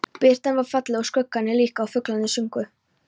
Birtan var falleg og skuggarnir líka og fuglarnir sungu.